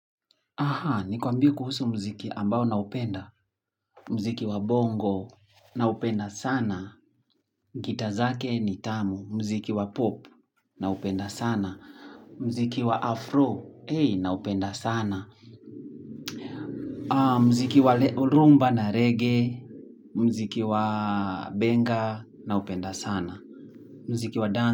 Aha, ni kwambie kuhusu muziki ambao naupenda. Mziki wa bongo naupenda sana. Gita zake ni tamu. Muziki wa pop naupenda sana. Muziki wa afro na upenda sana. Muziki wa rumba na reggae. Mziki wa benga na upenda sana. Muziki wa dan.